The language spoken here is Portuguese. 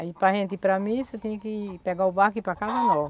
Aí gente para gente ir para missa, tinha que pegar o barco e ir para Casa Nova.